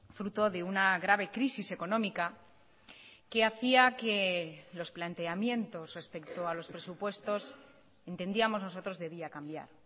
fruto de una grave crisis económica que hacía que los planteamientos respecto a los presupuestos entendíamos nosotros debía cambiar